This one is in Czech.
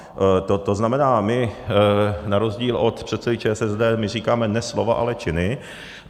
To znamená, my na rozdíl od předsedy ČSSD říkáme ne slova, ale činy.